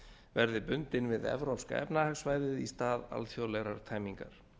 verði bundin við evrópska efnahagssvæðið í stað alþjóðlegrar tæmingar